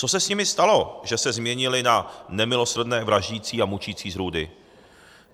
Co se s nimi stalo, že se změnili na nemilosrdné vraždící a mučící zrůdy?